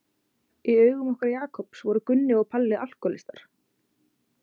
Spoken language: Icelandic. Í augum okkar Jakobs voru Gunni og Palli alkóhólistarnir.